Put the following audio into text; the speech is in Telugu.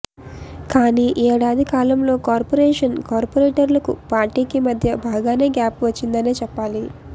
కానీ ఏడాది కాలంలో కార్పొరేషన్ కార్పోరేటర్లకు పార్టీకి మధ్య బాగానే గ్యాప్ వచ్చిందనే చెప్పాలి